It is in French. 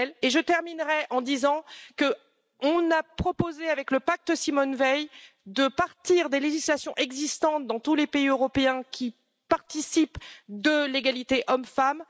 Je terminerai en disant que l'on a proposé, avec le pacte Simone Veil, de partir des législations existantes dans tous les pays européens qui participent de l'égalité homme femme.